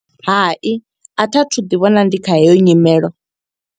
Hai, a thi a thu u ḓi vhona ndi kha heyo nyimelo.